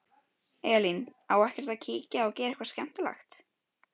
Elín: Á ekkert að kíkja og gera eitthvað skemmtilegt?